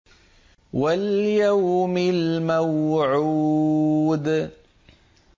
وَالْيَوْمِ الْمَوْعُودِ